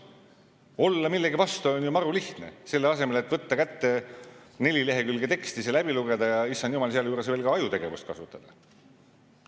Olla millegi vastu on ju maru lihtne, selle asemel et võtta kätte neli lehekülge teksti, läbi lugeda, ja issand jumal, sealjuures veel ka ajutegevust kasutada.